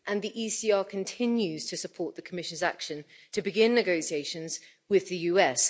And the ECR continues to support the Commission's action to begin negotiations with the US.